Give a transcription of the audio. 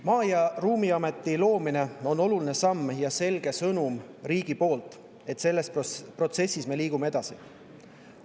Maa‑ ja Ruumiameti loomine on oluline samm ja selge sõnumi riigi poolt, et selles protsessis me liigume edasi.